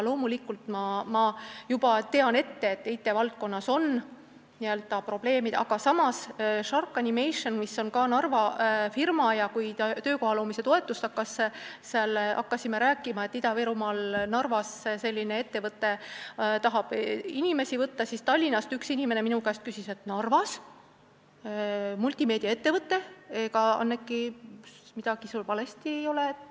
Loomulikult, ma tean juba ette, et IT-valdkonnas on probleeme, aga samas on S.H.A.R.K Animationem ka Narva firma ja kui me hakkasime töökoha loomise toetusest rääkima, et Ida-Virumaal Narvas tahab selline ettevõte inimesi tööle võtta, siis üks inimene Tallinnast küsis minu käest, et ega, Anneki, sa midagi valesti ei ole aru saanud, kas Narvas on multimeedia ettevõte.